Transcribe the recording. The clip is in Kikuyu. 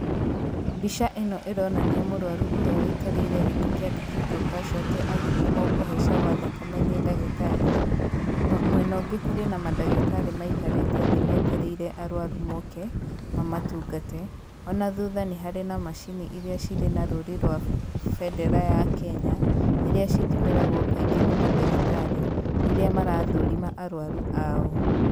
Mbica ĩno ĩronania mũrwaru ũrĩa wũikarĩire gĩtĩ kĩandĩkĩtwo CASUALTY agĩthimwo kũhaica gwa thakame nĩ ndahitarĩ, mwena ũngĩ kũrĩ na mandagĩtarĩ maikarĩte thĩ metereire arwaru moke, mamatungate, ona thutha nĩ harĩ na macini iria cirĩ na rũri rwa bendera ya Kenya, iria citũmagĩrwo kaingĩ nĩ mandagĩtarĩ rĩrĩa marathũrima arwaru ao.